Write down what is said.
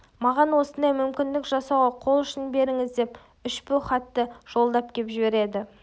маған осындай мүмкіндік жасауға қол ұшын беріңіз деп үшбу хатты жолдап кеп жібереді